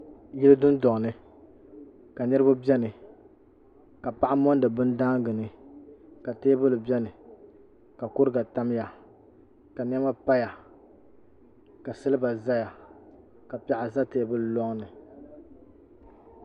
Yili dundɔŋ ni ka niribi beni ka paɣa mondi bini daangini ka teebuli beni ka kuriga tamya ka nɛma paya ka siliba zaya ka piɛɣu za teebuli loŋni.